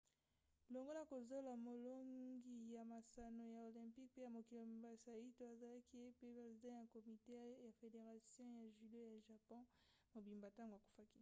longola kozola molongi ya masano ya olympic pe ya mokili mobimba saito azalaki pe president ya komite ya federation ya judo ya japon mobimba ntango akufaki